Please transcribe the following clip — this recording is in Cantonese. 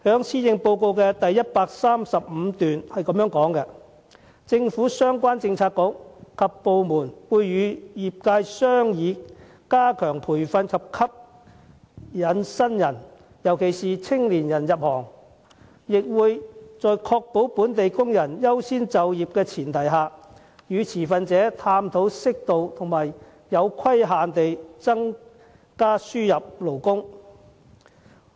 施政報告第135段提到："政府相關政策局及部門會與業界商議加強培訓及吸引新人入行，亦會在確保本地工人優先就業的前提下，與持份者探討適度和有規限地增加輸入勞工"。